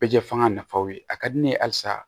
Bɛ jɛ fanga nafaw ye a ka di ne ye halisa